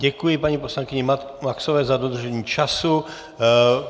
Děkuji paní poslankyni Maxové za dodržení času.